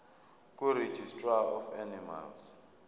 kuregistrar of animals